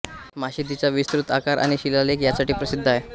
मशिदीचा विस्तृत आकार आणि शिलालेख यासाठी प्रसिद्ध आहे